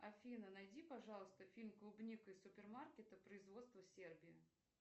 афина найди пожалуйста фильм клубника из супермаркета производство сербия